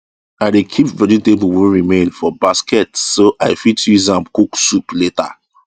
i dey keep vegetable wey remain for basket so i fit use am cook soup later